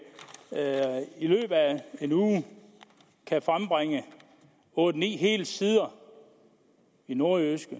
en uge kan frembringe otte ni hele sider i nordjyske